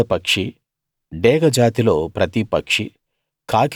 గరుడ పక్షి డేగ జాతిలో ప్రతి పక్షీ